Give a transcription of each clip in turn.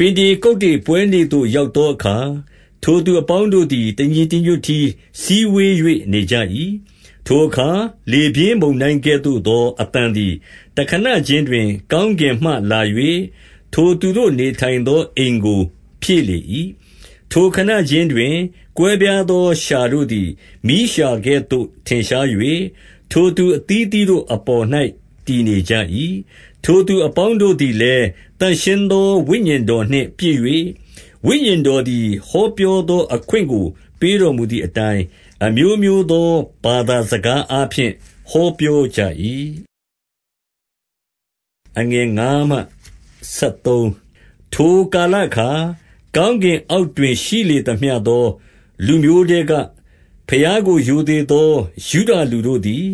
ပင်တေကုတ္တေပွဲနေ့ရောက်သောအခါ ထိုသူအပေါင်းတို့သည် တညီတညွတ်တည်းစည်းဝေး၍နေကြ၏ ထိုအခါ လေပြင်းမုန်တိုင်းကဲ့သို့သောအသံသည်တခဏခြင်းတွင် ကောင်းကင်မှလာ၍၊ ထိုသူတို့ နေ ထိုင်သောအိမ်ကိုဖြည့်လေ၏။ ထိုခဏခြင်းတွင်ကွဲပြားသော လျှာတို့သည်မီးလျှာကဲ့သို့ထင်ရှား၍၊ ထိုသူအသီးသီးတို့အပေါ်၌ တည် နေကြ၏။ ထိုသူအပေါင်းတို့သည်လည်းသန့်ရှင်းသောဝိညာဉ်တော်နှင့်ပြည့်၍၊ ဝိညာဉ်တော်သည်ဟောပြောသော အခွင့်ကို ပေးတော်မူသည်အတိုင်း အမျိုးမျိုးသောဘာသာစကားအားဖြင့်ဟောပြောကြ၏။ ထိုကာလအခါ၊ ကောင်းကင်အောက်တွင်ရှိလေသမျှသောလူမျိုးထဲကဘုရားကိုရိုသေသော ယုဒလူတို့ သည်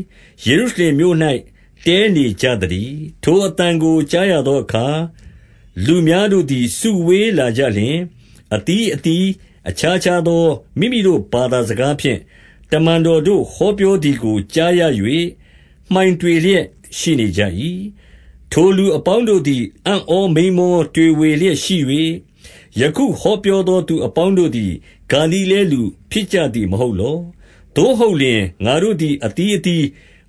ယေရုရှလင်မြို့၌ တည်းနေကြသတည်း။ ထိုအသံကိုကြားရသာအခါ၊ လူများတို့သည်စုဝေးလာကြလျှင်၊ အသီးသီးအခြားခြားသော မိမိတို့ ဘာသာစကားဖြင့် တမန်တော်တို့ဟောပြောသည်ကိုကြားရ၍ မှိုင်တွေလျက်ရှိနေကြ၏။ ထိုလူအပေါင်းတို့သည် အံ့ဩ မိန်းမောတွေဝေလျက်ရှိ၍၊ ယခုဟောပြောသောသူအပေါင်းတို့သည် ဂါလိလဲလူဖြစ်ကြသည် မဟုတ်လော။ သို့ဟုတ်လျှင်ငါတို့သည် အသီးသီး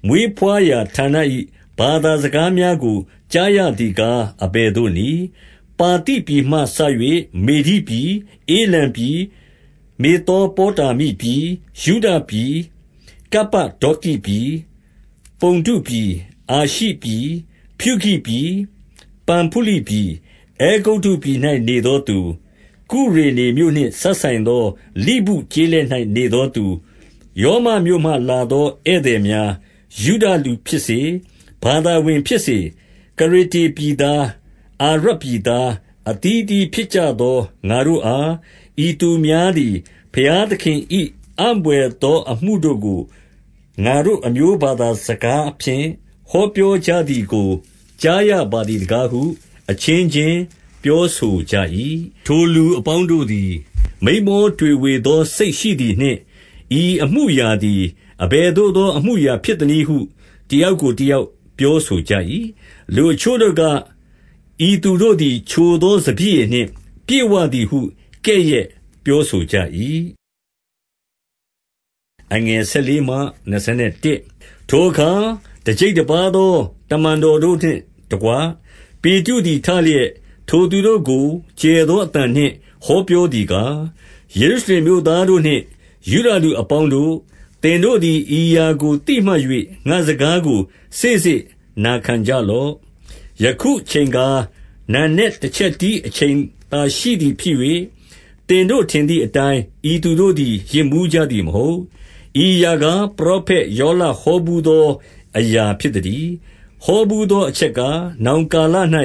မွေးဘွားရာဌာန၏ ဘာသာစကားများကို ကြားရသည်ကား အဘယ် သို့နည်း။ ပါသိပြည်မှစ၍မေဒိပြည်၊ ဧလံပြည်၊ မေသောပေါတာမိပြည်၊ ယုဒပြည်၊ ကုပ္ပဒေါကိပြည်၊ ပုန္တုပြည်၊ အာရှိပြည်၊ ဖြူဂိပြည်၊ ပမ်ဖုလိပြည်၊ အဲဂုတ္တုပြည်၌နေသောသူ၊ ကုရေနမြို့နှင့်စပ်သော လိဗုကျေးလက်၌ နေသော သူ၊ ရောမမြို့မှလာသောဧည့်သည်များ၊ ယုဒလူဖြစ်စေ၊ ဘာသာဝင်ဖြစ်စေ၊ ကရေတေပြည်သား၊ အာရပ်ပြည်သား၊ အသီးအသီးဖြစ်ကြသောငါတို့အားဤသူများသည် ဘုရား သခင်၏ အံ့ဘွယ်သောအမှုတို့ကို ငါတို့အမျိုးဘာသာစကားဖြင့် ဟောပြောကြသည်ကိုကြားရပါသည်တကားဟု အချင်းချင်းပြောဆိုကြ၏။ ထိုလူအပေါင်းတို့သည် မိန်းမော တွေးတောသောစိတ်ရှိသည်နှင့်၊ ဤအမှုအရာသည်အဘယ်သို့သော အမှုအရာဖြစ်သနည်းဟု တယောက်ကိုတယောက်ပြောဆိုကြ၏။ လူအချို့တို့က၊ ဤသူတို့သည်ချိုသောစပျစ်ရည်နှင့် ပြည့်ဝသည်ဟု ကဲ့ရဲ့ပြောဆိုကြ၏။ ထိုအခါ တကျိပ်တပါးသော တမန်တော်တို့နှင့်တကွ ပေတရုသည်ထလျက်၊ ထိုသူတို့ကို ကျယ်သော အသံနှင့်ဟောပြောသည်ကား၊ ယေရုရှလင်မြို့သားတို့နှင့်ယုဒလူအပေါင်းတို့၊ သင်တို့သည် ဤအရာကို သိမှတ်၍ ငါ့စကားကိုစေ့စေ့နာခံကြလော့။ ယခုအချိန်ကားနံနက်တချက်တီးအချိန်သာရှိသည်ဖြစ်၍၊ သင်တို့ထင်သည်အတိုင်း ဤသူတို့သည် ယစ်မူးကြသည်မဟုတ်။ ဤအရာကားပရောဖက်ယောလဟောဘူးသောအရာ ဖြစ်သတည်း။ ဟောဘူးအချက်ကား၊ နောင်ကာလ၌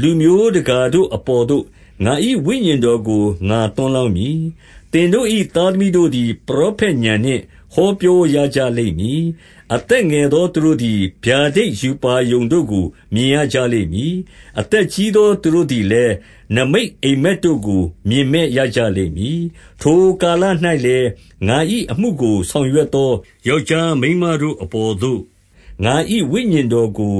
လူမျိုးတကာတို့အပေါ်သို့ ငါ၏ဝိညာဉ်တော်ကိုငါသွန်းလောင်း မည်။ သင်တို့၏သားသမီးတို့သည် ပရောဖက်ဥာဏ်နှင့် ဟောပြောရကြလိမ့်မည်။ အသက်ငယ်သောသူတို့သည် ဗျာဒိတ်ရှုပါရုံတို့ကို မြင်ရကြလိမ့်မည်။ အသက်ကြီးသောသူတို့သည်လည်း နိမိတ်အိပ်မက်တို့ကိုမြင်မက်ရ ကြလိမ့်မည်။ ထိုကာလ၌လည်း ငါ၏အမှုကိုဆောင်ရွက်သောယောက်ျားမိန်းမတို့အပေါ်သို့ ငါ၏ဝိညာဉ်တော်ကို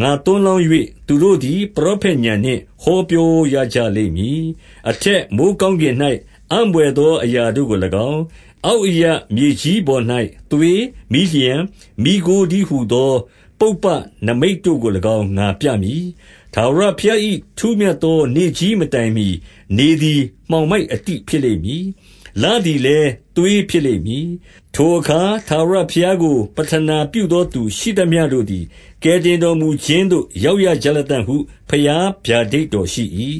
ငါ သွန်းလောင်း၍၊ သူတို့သည် ပရောဖက်ဥာဏ်နှင့် ဟောပြောရကြလိမ့်မည်။ အထက်မိုဃ်းကောင်းကင်၌ အံ့ဘွယ်သောအရာတို့ကို၎င်း၊ အောက်အရပ်မြေကြီးပေါ်၌သွေး၊ မီးလျှံ၊ မီးခိုးတည်းဟူသော ပုပ္ပနိမိတ်တို့ကို၎င်း ငါပြမည်။ ထာဝရဘုရား၏ ထူးမြတ်သောနေ့ကြီးမတိုင်မှီ၊ နေသည်မှောင်မိုက်အတိဖြစ်လိမ့်မည်။ လသည်လည်း သွေးဖြစ်လိမ့်မည်။ ထိုအခါထာဝရဘုရားကို ပဌနာပြုသောသူရှိသမျှတို့သည် ကယ်တင်တော်မူခြင်းသို့ရောက်ရကြ လတံ့ဟု ဘုရားဗျာဒိတ်တော်ရှိ၏။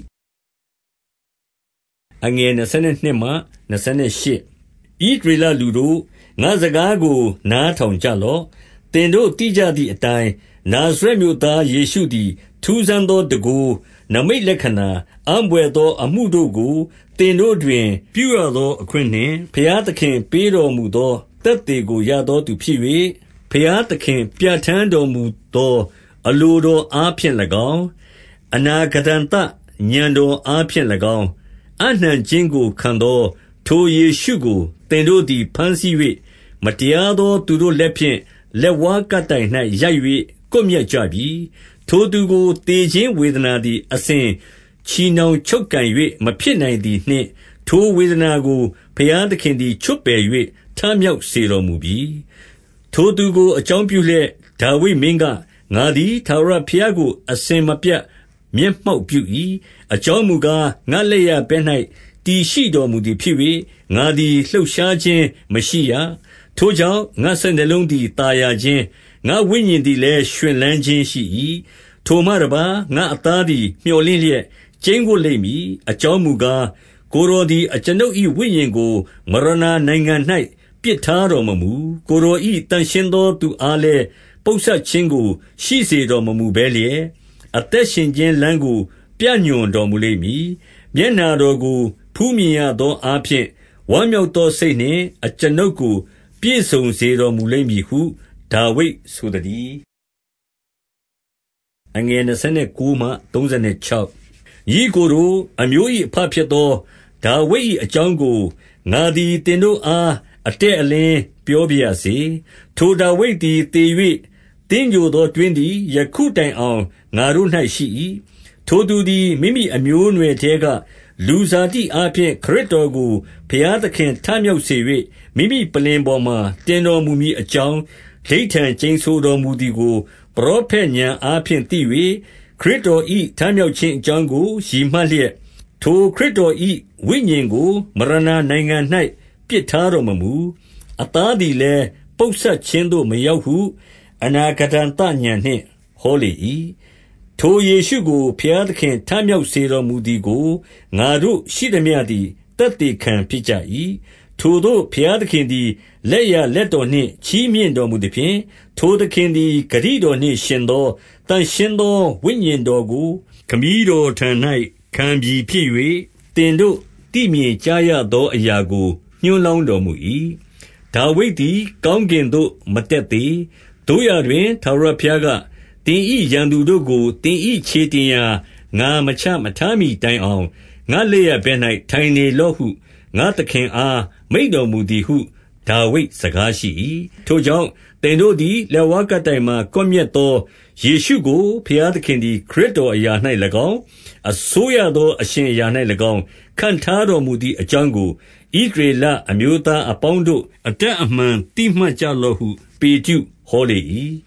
ဣသရေလလူတို့၊ ငါ့စကားကိုနားထောင်ကြလော့။ သင်တို့ သိကြသည့်အတိုင်း နာဇရက်မြို့သား ယေရှုသည် ထူးဆန်းသောတန်ခိုး၊ နိမိတ်လက္ခဏာ၊ အံ့ဘွယ်သောအမှုတို့ကို သင်တို့တွင်ပြုရသောအခွင့်နှင့် ဘုရားသခင်ပေးတော်မူသောသက်သေကို ရသောသူဖြစ်၍၊ ဘုရားသခင်ပြဌာန်းတော်မူသော အလိုတော်အားဖြင့်၎င်း၊ အနာဂတံသ ဥာဏ်တော်အားဖြင့်၎င်း၊ အပ်နှံခြင်းကိုခံသော ထိုယေရှုကို သင်တို့သည် ဘမ်းဆီး၍ မတရားသော သူတို့လက်ဖြင့် လက်ဝါးကပ်တိုင်၌ ရိုက်၍ ကွပ်မျက်ကြပြီ။ ထိုသူကို သေခြင်းဝေဒနာသည် အစဉ်ချည်နှောင်ချုပ်ကိုင်၍မဖြစ်နိုင်သည်နှင့်၊ ထိုဝေဒနာကို ဘုရားသခင်သည် ချွတ်ပယ်၍ထမြောက်စေတော်မူပြီ။ ထိုသူကိုအကြောင်းပြုလျက် ဒါဝိဒ်မင်းက၊ ငါသည်ထာဝရဘုရားကို အစဉ်မပြတ် မျက်မှောက်ပြု၏။ အကြောင်းမူကား ငါ့လက်ျာဘက်၌ တည်ရှိတော်မူသည်ဖြစ်၍ ငါသည်လှုပ်ရှားခြင်းမရှိရ။ ထိုကြောင့် ငါ့စိတ်နှလုံးသည် သာယာခြင်း၊ ငါ့ဝိညာဉ်သည်လည်း ရွှင်လန်းခြင်းရှိ၏။ ထိုမှတပါး ငါ့အသားသည် မြော်လင့်လျက် ကျိန်းဝပ်လိမ့်မည်။ အကြောင်းမူကား၊ ကိုယ်တော်သည်အကျွန်ုပ်၏ဝိညာဉ်ကို မရဏနိုင်ငံ၌ပစ်ထားတော်မမူ။ ကိုယ်တော် ၏ သန့်ရှင်းသောသူအားလည်း ပုပ်စပ်ခြင်းကိုရှိစေတော် မမူဘဲလျက်၊ အသက်ရှင်ခြင်းလမ်းကို ပြညွှန်တော်မူ လိမ့်မည်။ မျက်နှာတော်ကို ဖူးမြင်ရသောအားဖြင့် ဝမ်းမြောက်သောစိတ်နှင့် အကျွန်ုပ်ကိုပြည့်စုံစေတော်မူ လိမ့် မည်ဟုဒါဝိဒ်ဆိုသတည်း။ ညီအစ်ကိုတို့၊ အမျိုး၏အဘဖြစ်သော ဒါဝိဒ်၏အကြောင်းကို ငါသည် သင်တို့အား အတည့်အလင်း ပြောပါရစေ။ ထိုဒါဝိဒ်သည် သေ၍ သင်္ဂြိုဟ်သောတွင်းသည် ယခုတိုင်အောင် ငါတို့၌ရှိ၏။ ထိုသူသည် မိမိအမျိုးအနွယ်ထဲက လူဇာတိအားဖြင့် ခရစ်တော်ကို ဘုရားသခင်ထမြောက်စေ၍ မိမိ ပလ္လင်ပေါ်မှာတင်တော်မူမည်အကြောင်း ဓိဋ္ဌာန် ကျိန်ဆိုတော်မူသည်ကို ပရောဖက် ဥာဏ်အားဖြင့်သိ၍၊ ခရစ်တော်၏ထမြောက်ခြင်းအကြောင်းကိုရည်မှတ်လျက်၊ ထိုခရစ်တော်၏စိတ်ဝိညာဉ်ကို မရဏနိုင်ငံ၌ ပစ်ထားတော်မမူ။ အသားသည်လည်း ပုပ်စပ်ခြင်းသို့မရောက်ဟု အနာဂတံသဥာဏ်နှင့် ဟောလေ၏။ ထိုယေရှုကို ဘုရားသခင် ထမြောက်စေတော်မူသည်ကို ငါတို့ရှိသမျှသည် သက်သေခံဖြစ်ကြ၏။ ထိုသို့ဘုရားသခင်သည် လက်ျာလက်တော်နှင့် ချီးမြှောက်တော်မူသဖြင့်၊ ထိုသခင်သည် ဂတိတော်နှင့် ယှဉ်သောသန့်ရှင်းသောဝိညာဉ်တော်ကို ခမည်းတော်ထံ၌ ခံပြီဖြစ်၍ သင်တို့သိမြင်ကြားရသောအရာကို ညွန်း လောင်းတော်မူ၏။ ဒါဝိဒ်သည် ကောင်းကင်သို့မတက်သေး၊ သို့ရာတွင် ထာဝရဘုရားက၊ သင်၏ရန်သူတို့ကို သင်၏ ခြေတင်ရာ ငါမချမထားမှီတိုင်အောင် ငါ့လက်ျာဘက်၌ထိုင်နေလော့ဟု ငါ့သခင်အားမိန့်တော်မူသည်ဟု ဒါဝိဒ် စကားရှိ၏။ ထို့ကြောင့် သင်တို့သည်လက်ဝါးကပ်တိုင်မှာ ကွပ်မျက်သောယေရှုကိုဘုရားသခင်သည် ခရစ်တော်၌ ၎င်း၊ အစိုးရသောအရှင်အရာ၌၎င်း ခန့်ထားတော်မူသည်အကြောင်းကို ဣသရေလအမျိုးသားအပေါင်းတို့ အတပ်အမှန် သိမှတ်ကြလော့ဟု ပေတရုဟောလေ၏။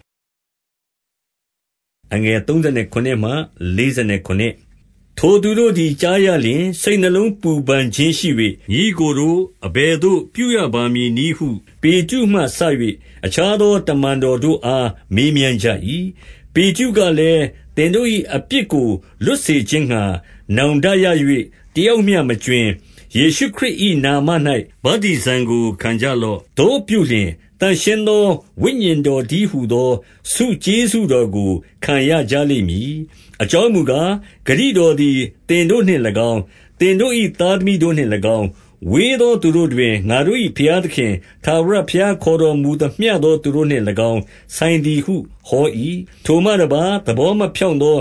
ထိုသိုတို့သည်ကြားရလျှင် စိတ်နှလုံးပူပန်ခြင်းရှိ၍၊ ညီအစ်ကိုတို့၊ အဘယ်သို့ပြုရပါမည်နည်းဟု ပေတရုမှစ၍ အခြားသောတမန်တော်တို့အား မေးမြန်းကြ၏။ ပေတရုကလည်း၊ သင်တို့၏အပြစ်ကိုလွတ်စေခြင်းငှါ နောင်တရ၍တယောက်မျှမကြွင်း၊ ယေရှုခရစ်၏ နာမ၌ ဗတ္တိဇံကိုခံကြလော့။ သို့ပြုလျှင် သန့်ရှင်းသောဝိညာဉ်တော်တည်းဟူသော ဆုကျေးဇူးတော်ကို ခံရကြ လိမ့်မည်။ အကြောင်းမူကား၊ ဂတိတော်သည် သင်တို့နှင့်၎င်း၊ သင်တို့၏သားသမီးတို့နှင့်၎င်း၊ ဝေးသော သူတို့တွင် ငါတို့၏ဘုရားသခင် ထာဝရဘုရား ခေါ်တော်မူသမျှသောသူတို့နှင့်၎င်း ဆိုင်သည်ဟု ဟော၏။ ထိုမှတပါးသဘောမဖြောင့်သော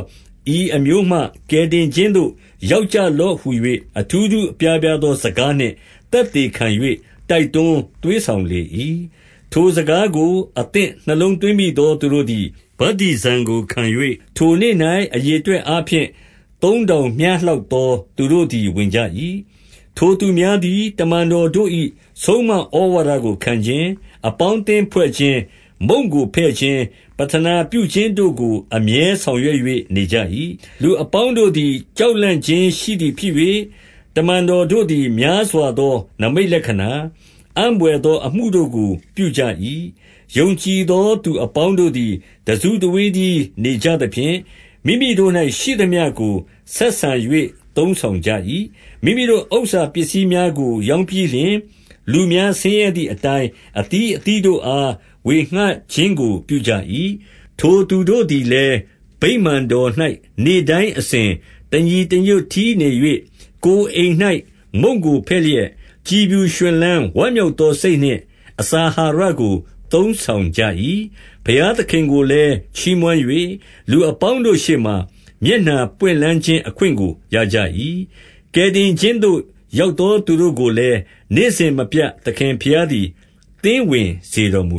ဤအမျိုးမှ ကယ်တင်ခြင်းသို့ ရောက်ကြလော့ဟူ၍ အထူးထူး အပြားပြားသောစကားနှင့် သက်သေခံ၍ တိုက်တွန်းသွေးဆောင်လေ၏။ ထိုစကားကို အသင့်နှလုံးသွင်းမိသော သူတို့သည် ဗတ္တိဇံကိုခံ၍၊ ထိုနေ့၌အရေအတွက်အားဖြင့် သုံး ထောင်မျှလောက်သော သူတို့သည်ဝင်ကြ၏။ ထိုသူများသည် တမန်တော်တို့၏ ဆုံးမဩဝါဒကိုခံခြင်း၊ အပေါင်းအသင်းဖွဲ့ခြင်း၊ မုန့်ကိုဖဲ့ခြင်း၊ ပဌာနပြုခြင်းတို့ကို အမြဲဆောင်ရွက်၍နေကြ၏။ လူအပေါင်းတို့သည်ကြောက်လန့်ခြင်းရှိသည်ဖြစ်၍ တမန်တော်တို့သည် များစွာသောနိမိတ်လက္ခဏာ၊ အံ့ဘွယ်သောအမှုတို့ကို ပြုကြ၏။ ယုံကြည်သော သူအပေါင်းတို့သည် တစုတဝေးတည်းနေကြသဖြင့်၊ မိမိတို့၌ရှိသမျှကို ဆက်ဆံ၍ သုံးဆောင်ကြ၏။ မိမိတို့ဥစ္စာပစ္စည်းများကိုရောင်းပြီးလျှင်၊ လူများ ဆင်းရဲသည်အတိုင်း အသီးအသီးတို့အား ဝေဌခြင်းကို ပြုကြ၏။ ထိုသူတို့သည်လည်း ဗိမာန်တော်၌ နေ့တိုင်းအစဉ်တညီတညွတ်တည်းနေ၍၊ ကိုယ်အိမ်၌ မုန့်ကိုဖဲ့ လျက် ကြည်ဖြူရွှင်လန်းဝမ်းမြောက်သောစိတ်နှင့် အစာအာဟာရကိုသုံးဆောင်ကြ၏။ ဘုရားသခင်ကိုလည်းချီးမွမ်း၍ လူအပေါင်းတို့ရှေ့မှာ မျက်နှာပွင့်လန်းခြင်း အခွင့်ကိုရကြ၏။ ကယ်တင်ခြင်းသို့ ရောက်သောသူတို့ကိုလည်းနေ့စဉ်မပြတ် သခင်ဘုရားသည် သင်းဝင်စေတော်မူ